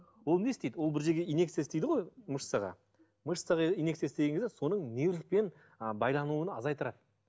ол не істейді ол бір жерге инъекция істейді ғой мышцаға мышцаға инъекция істеген кезде соның нервпен ы байлануына азайттырады